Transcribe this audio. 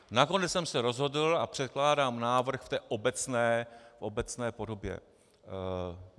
Nakonec jsem se rozhodl a předkládám návrh v té obecné podobě.